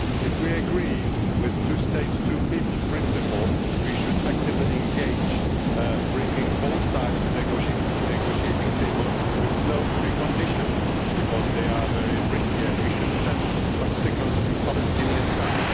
If we agree with the two states, two peoples' principle, we should actively engage in bringing both sides to the negotiating table with no preconditions, because they are very risky and we should send some signals to the Palestinian side.